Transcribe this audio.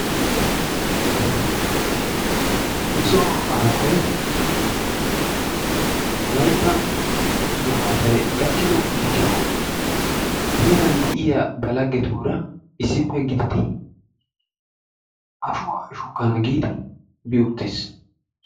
Nu so aaway wolaytta gifaatay gakiddo gishshawu heeran de'iyas ba lagettura issippe gididdi ashshwaa shukkana giidi bi uttis.